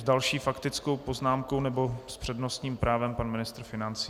S další faktickou poznámkou nebo s přednostním právem pan ministr financí.